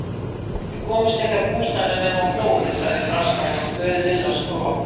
Við komust ekki að bústaðnum nema á flóði sagði Braskarinn og bauð Lilla skro.